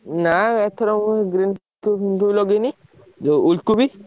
ନା ଏଥରକ ମୁଁ green କୋବି ଫିନ୍ କୋବି ଲଗେଇନି। ଯୋଉ ଉଲ୍ କୋବି?